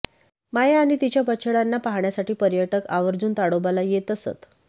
माया आणि तिच्या बछड्यांना पाहण्यासाठी पर्यटक आवर्जून तोडोबाला येत येत असत